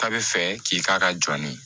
Ta bi fɛ k'i k'a ka jɔni